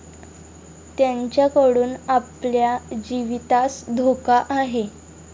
त्यांच्याकडून आपल्या जीवितास धोका आहे.